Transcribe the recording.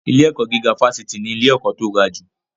Ilé-ẹ̀kọ́ gíga fásitì ni ilé-ẹ̀kọ́ tó gajù.